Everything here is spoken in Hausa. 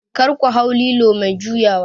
kar ku hau lilo mai juyawa?